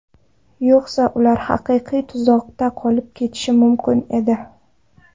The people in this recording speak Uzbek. Yo‘qsa ular haqiqiy tuzoqda qolib ketishi mumkin edi.